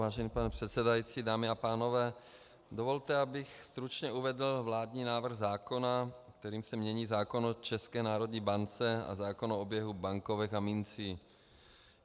Vážený pane předsedající, dámy a pánové, dovolte, abych stručně uvedl vládní návrh zákona, kterým se mění zákon o České národní bance a zákon o oběhu bankovek a mincí.